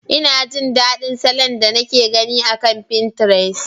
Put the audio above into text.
Ina jin daɗin salon da nake gani akan finterest.